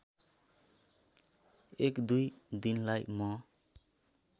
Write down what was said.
१ २ दिनलाई म